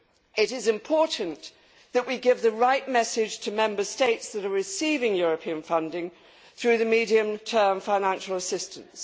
It is important that we give the right message to Member States that are receiving European funding through the medium term financial assistance.